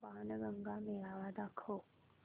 बाणगंगा मेळावा दाखव